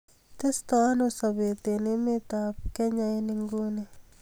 Testo ano sobet en emet ab kenya en inguni